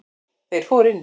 Þeir fóru inn.